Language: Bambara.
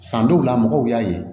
San dɔw la mɔgɔw y'a ye